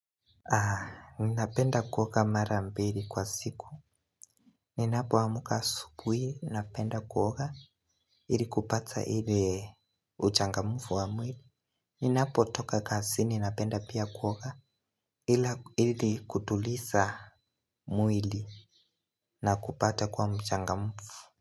Napenda kuoga mara mbili kwa siku. Ninapoamka asubuhi napenda kuoga ili kupata ile uchangamfu wa mwili. Ninapotoka kazini napenda pia kuoga ili kutuliza mwili na kupata kuwa mchangamfu.